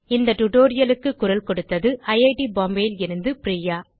இந்த டியூட்டோரியல் க்கு குரல் கொடுத்தது ஐட் பாம்பே லிருந்து பிரியா